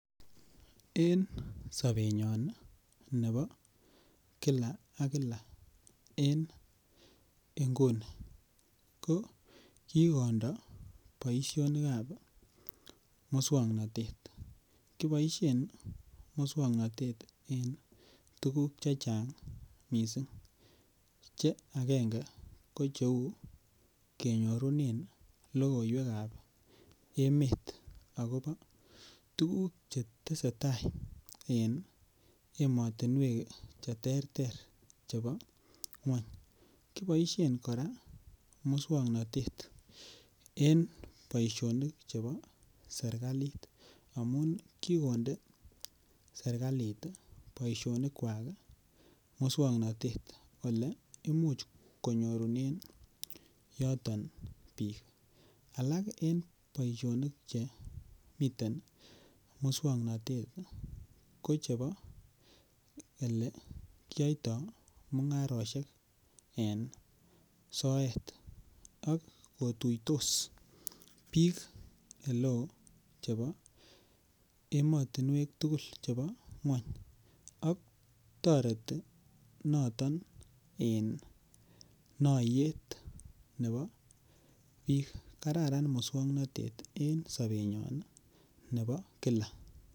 En sobenyon nebo kila ak kila en inguni kokikondo boisinikab muswoknotet, kiboisien muswoknotet en tuguk chechang missing' che agenge ko cheu kenyorunen logoiwekab emet akobo tuguk chetesetaa en emotinuek cheterter chebo ngwony kiboisien koraa muswoknotet en boisionik chebo serkalit, amun kikonde serkalit boishonikwak muswoknotet ele imuch konyorunen yoton bik boisionik chemiten muswoknotet ko chebo ele kiyoito mungaroshek en soet ok kotuitos bik eleo chebo emotinuek tugul chebo ngwony ok toreti noton en noyet nebo bik kararan muswoknotet en sobenyon nebo [cskila.